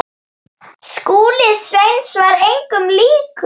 Skúli Sveins var engum líkur.